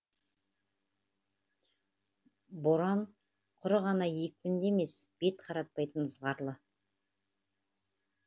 боран құр ғана екпінді емес бет қаратпайтын ызғарлы